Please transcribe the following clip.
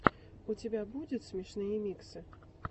у тебя будет смешные миксы